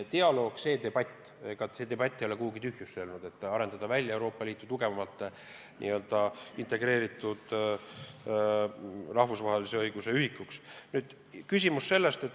Ega see debatt ei ole kuhugi tühjusse haihtunud, kas Euroopa Liidust võiks välja arendada n-ö integreeritud rahvusvahelise õiguse ühiku.